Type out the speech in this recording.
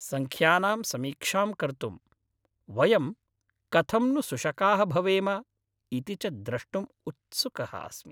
सङ्ख्यानां समीक्षां कर्तुं, वयं कथं नु सुशकाः भवेम इति च द्रष्टुं उत्सुकः अस्मि।